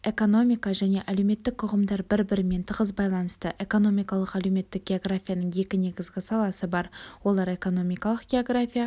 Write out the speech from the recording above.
экономика және әлеуметтік ұғымдар бір-бірімен тығыз байланысты экономикалық-әлеуметтік географияның екі негізгі саласы бар олар экономикалық география